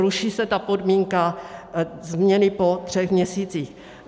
Ruší se ta podmínka změny po třech měsících.